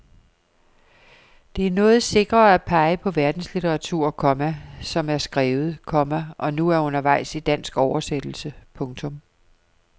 Det er noget sikrere at pege på verdenslitteratur, komma som er skrevet, komma og nu er undervejs i dansk oversættelse. punktum